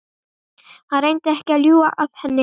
Hann reyndi ekki að ljúga að henni.